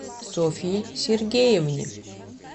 софье сергеевне